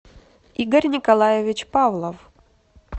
игорь николаевич павлов